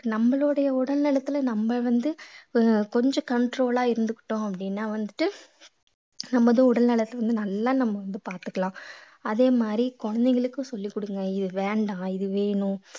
நம்மளுடைய உடல்நலத்தில நம்ம வந்து அஹ் கொஞ்சம் control ஆ இருந்துக்கிட்டோம் அப்படீன்னா வந்துட்டு நமது உடல் நலத்தை வந்து நல்லா நம்ம வந்து பாத்துக்கலாம் அதே மாதிரி குழந்தைகளுக்கும் சொல்லிக் கொடுங்க இது வேண்டாம் இது வேணும்